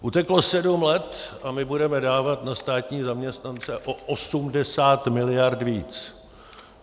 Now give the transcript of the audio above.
Uteklo sedm let a my budeme dávat na státní zaměstnance o 80 mld. víc.